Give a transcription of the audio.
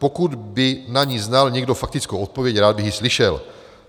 Pokud by na ni znal někdo faktickou odpověď, rád bych ji slyšel.